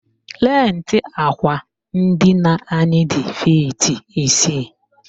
Lentị àkwà ndina anyị dị fiiti isii